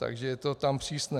Takže je to tam přísné.